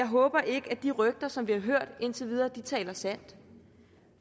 håber at de rygter som vi har hørt indtil videre taler sandt